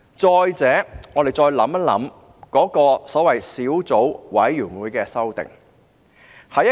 再者，我們再想一想所謂小組委員會提出的修訂。